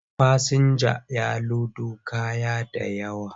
Fasinjan ya lodo kaya da yawa,